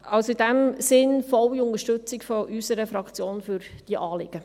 Also, in dem Sinn: Volle Unterstützung von unserer Fraktion für diese Anliegen.